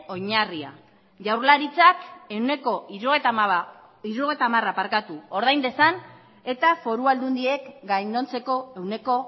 oinarria jaurlaritzak ehuneko hirurogeita hamara ordain dezan eta foru aldundiek gainontzeko ehuneko